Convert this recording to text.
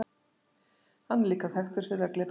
hann er líka þekktur fyrir að gleypa kol